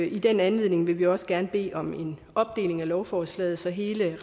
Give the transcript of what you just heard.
i den anledning vil vi også gerne bede om en opdeling af lovforslaget så hele